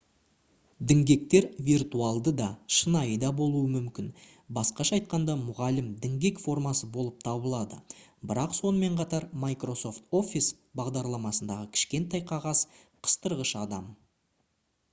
діңгектер виртуалды да шынайы да болуы мүмкін басқаша айтқанда мұғалім діңгек формасы болып табылады бірақ сонымен қатар microsoft office бағдарламасындағы кішкентай қағаз қыстырғыш адам